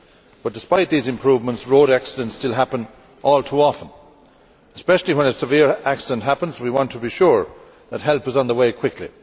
but despite these improvements road accidents still happen all too often and, especially when a severe accident happens, we want to be sure that help is on the way quickly.